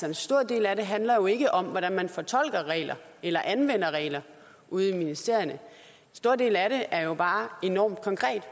en stor del af det handler ikke om hvordan man fortolker regler eller anvender regler ude i ministerierne en stor del af det er jo bare enormt konkret